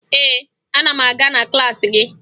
Ee, ana m aga na klaasị gị